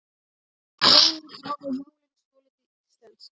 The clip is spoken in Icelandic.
Reynir að hafa jólin svolítið íslensk